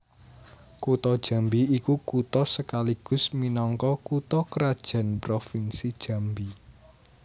Kutha Jambi iku kutha sekaligus minangka kutha krajan Provinsi Jambi